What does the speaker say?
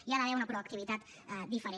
hi ha d’haver una proactivitat diferent